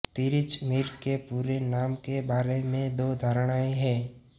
तिरिच मीर के पूरे नाम के बारे में दो धारणाएँ हैं